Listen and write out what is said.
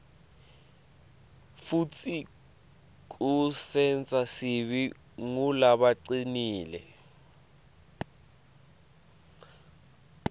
futsi kusenta sibe ngulabacinile